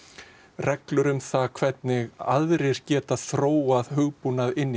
reglur um hvernig aðrir geti þróað hugbúnað inn í